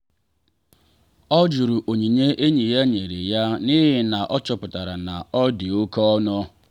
ọ jụrụ onyinye enyi ya nyere ya n’ihi na ọ chọpụtara na ọ dị oke ọnụ.